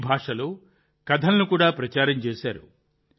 ఈ భాషలో కథలను కూడా ప్రచారం చేశారు